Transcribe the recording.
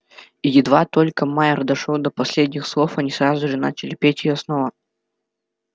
и едва только майер дошёл до последних слов они сразу же начали петь её снова